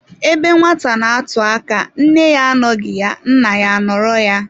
Ebe nwata n'atụ aka, nne ya anọghị ya, nna ya anoro ya.